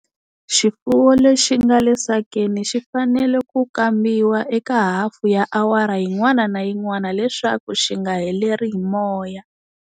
Xifuwo lexi nga le sakeni xi fanale ku kambiwa eka hafu ya awara yin'wana na yin'wana leswaku xi nga heleri hi moya.